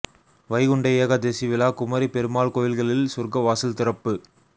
வைகுண்ட ஏகாதசி விழா குமரி பெருமாள் கோயில்களில் சொர்க்க வாசல் திறப்பு